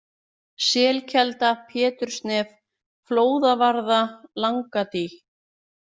Selkelda, Pétursnef, Flóðavarða, Langadý